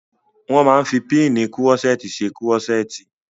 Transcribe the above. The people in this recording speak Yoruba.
Wọ́n máa n fi pínnìì kúrọ́sẹ́ẹ̀tì ṣe kúrọ́sẹ́ẹ̀tì